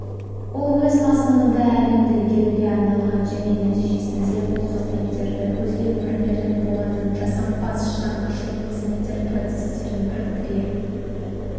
ол өз мазмұнында әлемді игеруге арналған және нәтижесінде бұл қызметтері көзге көрінерлік болатын жасампаз шығармашылық қызметтер процестерін біріктіре